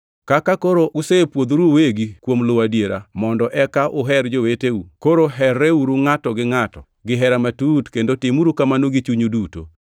Kaka koro usepwodhuru uwegi kuom luwo adiera, mondo eka uher joweteu, koro herreuru ngʼato gi ngʼato gihera matut, kendo timuru kamano gi chunyu duto.